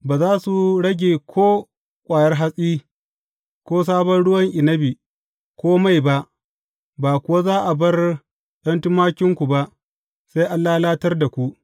Ba za su rage ko ƙwayar hatsi, ko sabon ruwan inabi, ko mai ba, ba kuwa za a bar ’yan tumakinku ba, sai an lalatar da ku.